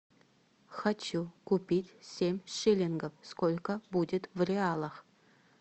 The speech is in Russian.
хочу купить семь шиллингов сколько будет в реалах